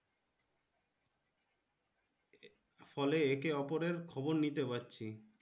ফলে একে ওপরের খবর নিতে পারছি।